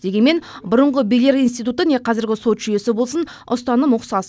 дегенмен бұрынғы билер институты не қазіргі сот жүйесі болсын ұстаным ұқсас